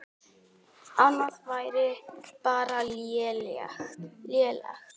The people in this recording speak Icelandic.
Annað væri bara lélegt.